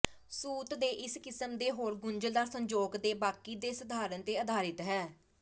ਸੂਤ ਦੇ ਇਸ ਕਿਸਮ ਦੇ ਹੋਰ ਗੁੰਝਲਦਾਰ ਸੰਜੋਗ ਦੇ ਬਾਕੀ ਦੇ ਸਧਾਰਨ ਤੇ ਅਧਾਰਿਤ ਹੈ